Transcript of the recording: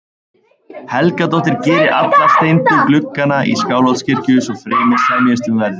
Helgadóttir geri alla steindu gluggana í Skálholtskirkju- svo fremi semjist um verðið.